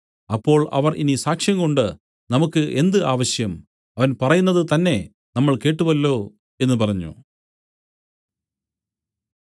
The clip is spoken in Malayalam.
അപ്പോൾ അവർ ഇനി സാക്ഷ്യംകൊണ്ട് നമുക്കു എന്ത് ആവശ്യം അവൻ പറയുന്നത് തന്നേ നമ്മൾ കേട്ടുവല്ലോ എന്നു പറഞ്ഞു